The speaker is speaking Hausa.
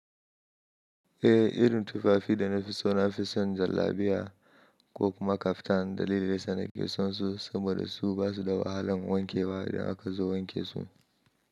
Eh, irin tufafi da na fi so na fi son jallabiya ko kuma kaftan dalili da yasa nake son su saboda su basu da wahalan wankewa idan aka zo wanke su.